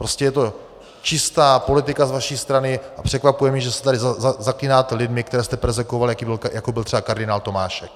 Prostě je to čistá politika z vaší strany a překvapuje mě, že se tady zaklínáte lidmi, které jste perzekvovali, jako byl třeba kardinál Tomášek.